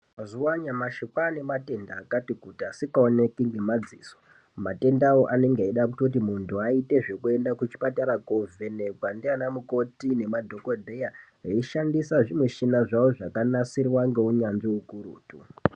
Mazuwa anyamushi kwaanematenda akati kuti asikaoneki ngemadziso . matendawo anenge eida kutoti muntu aite zvekuaende kuchipatara kwovhenekwa naana mukoti nemadhokodheya eishandisa zvimushina zvawo zvakanasirwa ngeunyanzi ukurutu.